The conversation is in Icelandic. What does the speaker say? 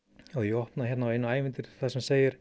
ef ég opna hérna á eitt ævintýrið þar sem segir